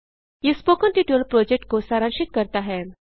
यह spoken tutorial project को सारांशित करता है